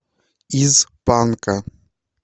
из панка